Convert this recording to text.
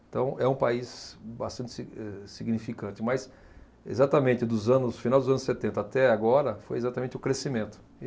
Então é um país bastante sig, eh, significante, mas exatamente dos anos, final dos anos setenta até agora foi exatamente o crescimento.